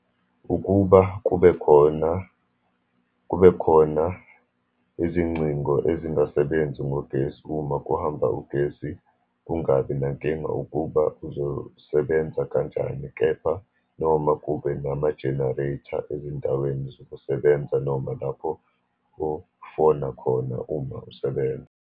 Ukuba kube khona, kube khona izingcingo ezingasebenzi ngogesi uma kuhamba ugesi, kungabi nankinga ukuba uzosebenza kanjani. Kepha noma kube nama-generator ezindaweni zokusebenza, noma lapho ofona khona uma usebenza.